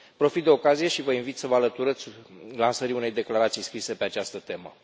Profit de ocazie și vă invit să vă alăturați lansării unei declarații scrise pe această temă.